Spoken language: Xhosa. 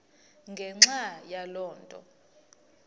ngenxa yaloo nto